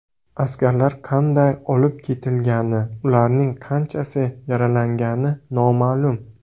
Askarlar qanday olib ketilgani, ularning qanchasi yaralangani noma’lum.